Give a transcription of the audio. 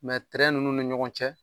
nunnu ni ɲɔgɔn cɛ